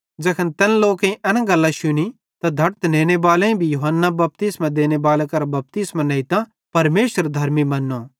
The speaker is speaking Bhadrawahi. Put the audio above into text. ज़ैखन तैन लोकेईं एन गल्लां शुनी त धड़त नेनेबाले भी यूहन्ना बपतिस्मो देनेबाले करां बपतिस्मो नेइतां परमेशर धर्मी मन्नो